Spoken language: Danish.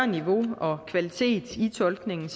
niveauet og kvaliteten i tolkningen